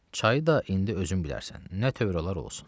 Çayı da indi özün bilərsən, nə tövr olar olsun.